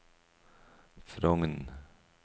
Frogn